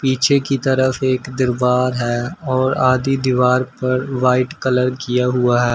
पीछे की तरफ से एक दिवार है और आदि दीवार पर वाइट कलर किया हुआ है।